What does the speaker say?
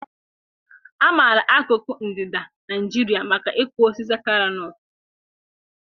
A maara akụkụ ndịda Nigeria maka ịkụ osisi Kalo-nut.